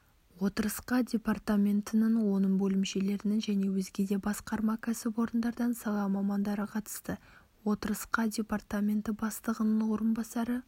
отырысқа департаментінің оның бөлімшелерінің және өзге де басқарма кәсіпорындардан сала мамандары қатысты отырысқа департаменті бастығының орынбасары